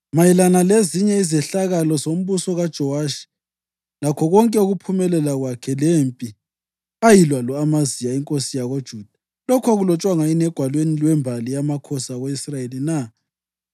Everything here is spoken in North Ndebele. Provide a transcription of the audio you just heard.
Mayelana lezinye izehlakalo zombuso kaJowashi, lakho konke lokuphumelela kwakhe, lempi ayilwa lo-Amaziya inkosi yakoJuda, lokhu akulotshwanga yini egwalweni lwembali yamakhosi ako-Israyeli na?